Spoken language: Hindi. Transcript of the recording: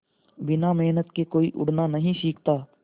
बिना मेहनत के कोई उड़ना नहीं सीखता